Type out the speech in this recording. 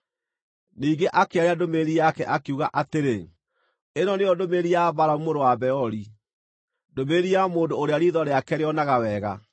Ningĩ akĩaria ndũmĩrĩri yake, akiuga atĩrĩ: “Ĩno nĩyo ndũmĩrĩri ya Balamu mũrũ wa Beori, ndũmĩrĩri ya mũndũ ũrĩa riitho rĩake rĩonaga wega,